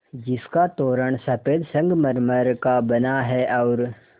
जिसका तोरण सफ़ेद संगमरमर का बना है और